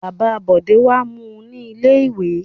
Bàbá Bọ̀dé wá mú u ní ilé-ìwé.